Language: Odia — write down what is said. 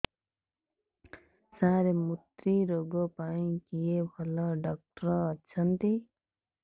ସାର ମୁତ୍ରରୋଗ ପାଇଁ କିଏ ଭଲ ଡକ୍ଟର ଅଛନ୍ତି